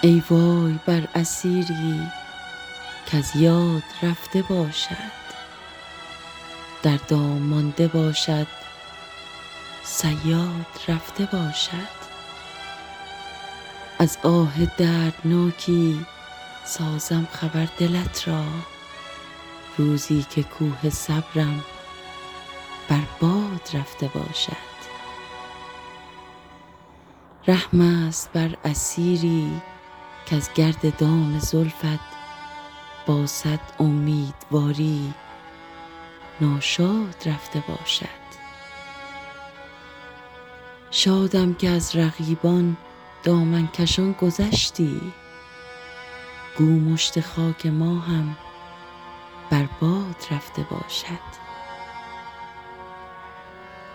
ای وای بر اسیری کز یاد رفته باشد در دام مانده باشد صیاد رفته باشد از آه دردناکی سازم خبر دلت را روزی که کوه صبرم بر باد رفته باشد رحم است بر اسیری کز گرد دام زلفت با صد امیدواری ناشاد رفته باشد شادم که از رقیبان دامن کشان گذشتی گو مشت خاک ما هم بر باد رفته باشد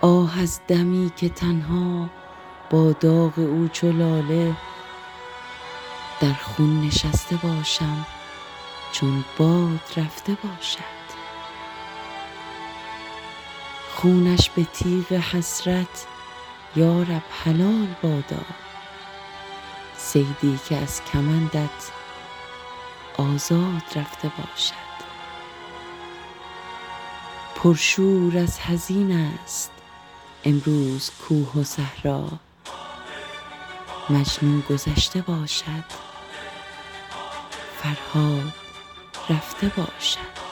آه از دمی که تنها با داغ او چو لاله در خون نشسته باشم چون باد رفته باشد خونش به تیغ حسرت یارب حلال بادا صیدی که از کمندت آزاد رفته باشد پرشور از حزین است امروز کوه و صحرا مجنون گذشته باشد فرهاد رفته باشد